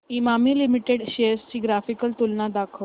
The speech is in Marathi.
इमामी लिमिटेड शेअर्स ची ग्राफिकल तुलना दाखव